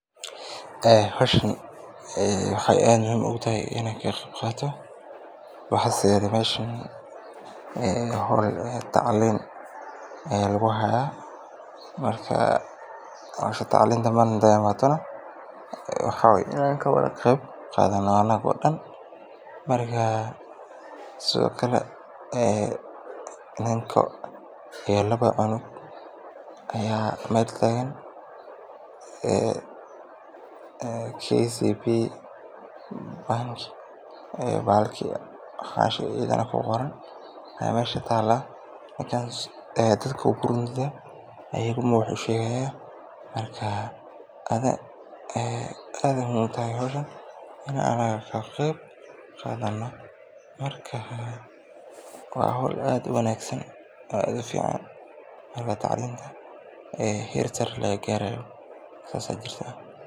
Howshan waxaay aad muhiim ugu tahay inaan ka qeeb qaato, howl tacliin ayaa meesha lagu haaya, inaan ka qeeb qaadano anago dan waye, laba cunug iyo hal nin ayaa meesha taagan, waxbu usheegaya, waa howl aad ufican, in tacliinta heer sare laga gaarayo, saas ayaa jirtaa.